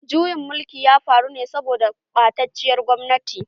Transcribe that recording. Juyin mulkin ya faru ne saboda ɓatacciyar gwamnati.